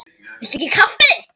Það geri ég einnig nú.